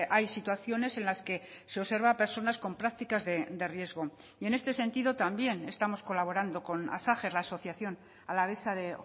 hay situaciones en las que se observa a personas con prácticas de riesgo y en este sentido también estamos colaborando con asajer la asociación alavesa de